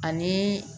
Ani